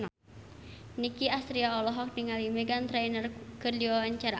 Nicky Astria olohok ningali Meghan Trainor keur diwawancara